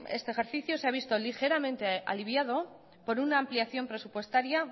este ejercicio se ha visto ligeramente aliviado por una ampliación presupuestaria